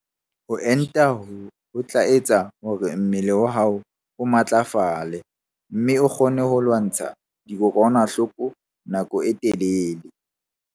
Ho enta ho tla etsa hore mmele wa hao o matlafale mme o kgone ho lwantsha dikokwanahloko nako e telele.